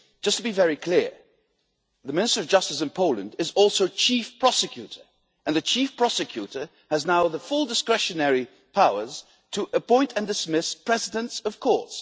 To be very clear the Minister of Justice in Poland is also Chief Prosecutor and the Chief Prosecutor now has full discretionary powers to appoint and dismiss presidents of courts.